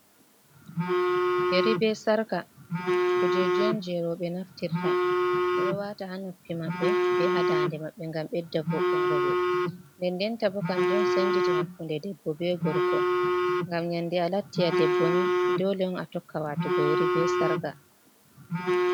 Yeri be sarka, kuje on je roɓe naftirta, ɓeɗo wata ha noppi maɓɓe be ha dande maɓɓe gam ɓedda voɗungo ɓe, nde-ndenta bo kanjon senditi hakku nde debbo be gorko, gam nyandi a latti a debbo ni dole on a tokka watugo yeri be sarka.